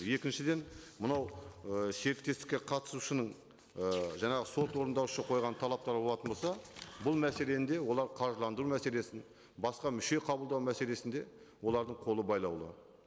екіншіден мынау ы серіктестікке қатысушының і жаңағы сот орындаушы қойған талаптары болатын болса бұл мәселені де олар қаржыландыру мәселесін басқа мүше қабылдау мәселесінде олардың қолы байлаулы